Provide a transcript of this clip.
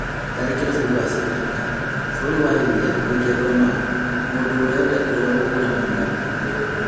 Tharĩkĩro bũrũri wa Sri Lanka: bũrũri wa India gũikia ngono mũndũ ũrĩa ũrekũirwo gũkuruhanio na tharĩkĩro ĩyo